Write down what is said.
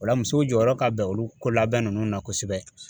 Ola musow jɔyɔrɔ ka bɛn olu ko labɛn nunnu na kosɛbɛ.